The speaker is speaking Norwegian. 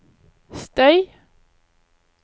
støy